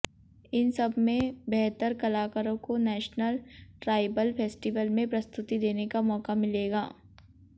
इन सब में बेहतर कलाकारों को नेशनल ट्राइबल फेस्टिवल में प्रस्तुति देने का मौका मिलेगा